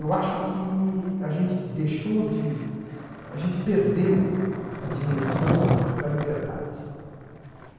Eu acho que a gente deixou de, a gente perdeu, né, a dimensão da liberdade.